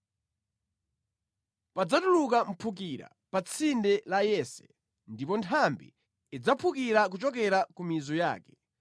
Padzatuluka mphukira pa tsinde la Yese ndipo nthambi idzaphukira kuchokera ku mizu yake.